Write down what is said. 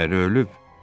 Əri ölüb.